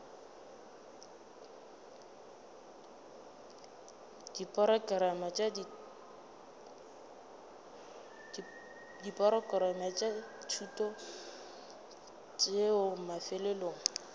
diporokerama tša thuto tšeo mafelelong